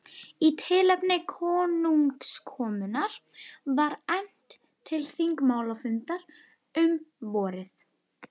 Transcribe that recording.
Í tilefni konungskomunnar var efnt til þingmálafundar um vorið.